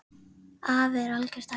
Afi er algert æði.